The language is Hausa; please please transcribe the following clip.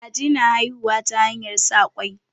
Kaji na haihuwa ta hanyar sa ƙwai.